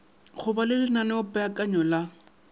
go ba le lenaneopeakanyo la